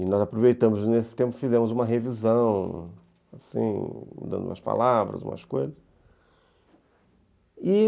E nós aproveitamos nesse tempo e fizemos uma revisão, assim, dando umas palavras, umas coisas.